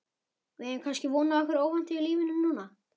Við eigum kannski von á einhverju óvæntu í lífinu núna?